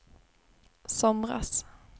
somras